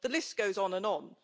The list goes on and on.